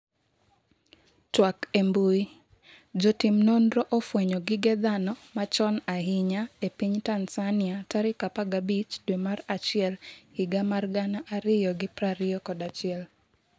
twak e mbui, Jotim nonro ofwenyo gige dhano machon ahinya e piny Tanzania tarik 15 dwe mar achiel higa mar 2021